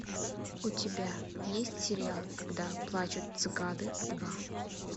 у тебя есть сериал когда плачут цикады два